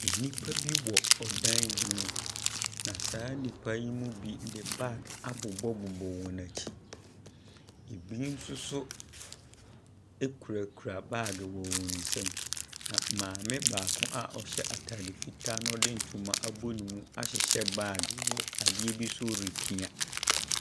Nnipa bi wɔ ɔdan bi mu, na saa nnipa yi mu bi de bag abobɔbobɔ wɔn akyi. Ɛbi nso so kurakura bag wɔ wɔn nsam. Na maame baako a ɔhyɛ atade fitaa na ɔde ntoma abɔ ne mu ahyehɛ baabe wɔ adeɛ bi so repia.